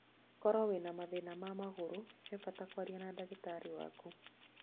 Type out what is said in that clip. Koro wĩna mathĩna ma magũru he bata kũarĩria na ndagĩtarĩ waku